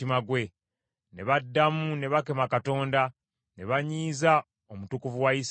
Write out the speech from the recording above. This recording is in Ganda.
Ne baddamu ne bakema Katonda, ne banyiiza Omutukuvu wa Isirayiri.